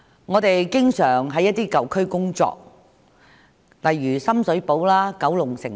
我們經常前往一些舊區例如深水埗、九龍城工作。